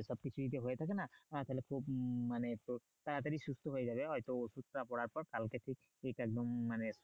এ সব যদি কিছু হয়ে থাকে না হ্যাঁ তাহলে মানে আহ খুব তাড়াতাড়ি সুস্থ হয়ে যাবে হয়তো ওষুধ টা পড়ার পর কালকে থেকেই পেট একদম মানে